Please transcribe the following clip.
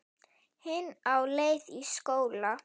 Hin á leið í skóla.